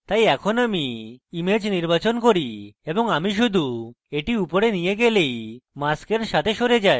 তাই এখন আমি image নির্বাচন করি এবং আমি শুধু এটি উপরে নিয়ে গেলেই mask এর সাথে সরে যায়